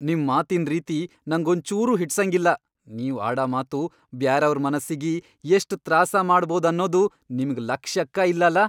ನಿಮ್ ಮಾತಿನ್ ರೀತಿ ನಂಗೊಂಚೂರೂ ಹಿಡ್ಸಂಗಿಲ್ಲ. ನೀವ್ ಆಡ ಮಾತು ಬ್ಯಾರೆಯವ್ರ್ ಮನಸ್ಸಿಗಿ ಎಷ್ಟ್ ತ್ರಾಸ ಮಾಡಭೌದ್ ಅನ್ನದು ನಿಮ್ಗ್ ಲಕ್ಷ್ಯಕ್ಕಾ ಇಲ್ಲಲಾ.